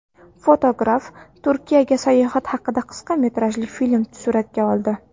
Fotograf Turkiyaga sayohat haqida qisqa metrajli film suratga oldi .